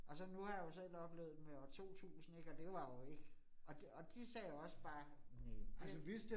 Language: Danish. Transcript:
Og så nu har jeg jo selv oplevet det med år 2000 ik, og det var jo ikke. Og og de sagde også bare, næ det